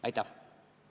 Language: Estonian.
Aitäh!